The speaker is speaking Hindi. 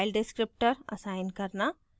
एक इनपुट file descriptor असाइन करना